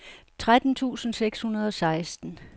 tretten tusind seks hundrede og seksten